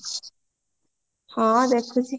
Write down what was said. ହଁ ଦେଖୁଚି